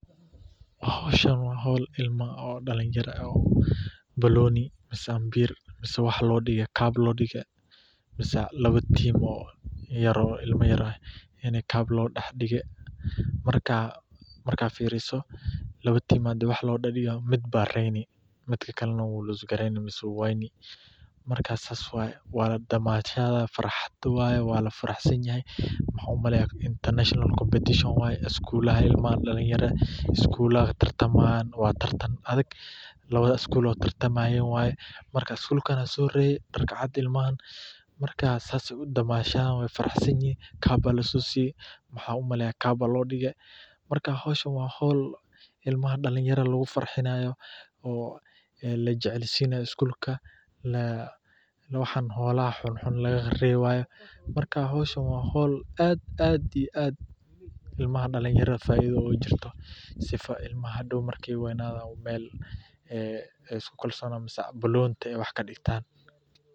Hoshan wa hool ilma dalinyara eeh banooni mise amabir cup lo degay, mise lawa team ilma yar oo ini cup lo daxdigay marka firisoh lawa team midba reyni midakali wuu wayni, marka saas waye waladamashadaya farxathet waye Wala faraxsanahay waxan u malaynay international competition waye ilmaha dalinya schoolada tertemahayan adega , lawatha school taratanahayan waye marka schoolka sorreye marka saas Aya u damashadayan ilmaha sas aya u faraxsanyahin , caap Aya lasoseyo waxanu malayah caap Aya lo degay marka hoosha wa hool imlaha dalinyada lagu farxinayo oo lajaceelsinayo schoolka waxan xolaha xunnxun lagarebayoh mara wa hool faitho kujirtah sifa ilmaha marka weynathan iskolsonathan inta wax kadegtan.